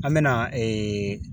An bɛna ee